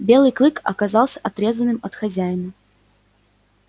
белый клык оказался отрезанным от хозяина